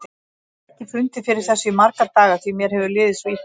Ég hef ekki fundið fyrir þessu í marga daga því mér hefur liðið svo illa.